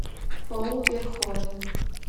пол верховен